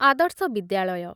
ଆଦର୍ଶ ବିଦ୍ୟାଳୟ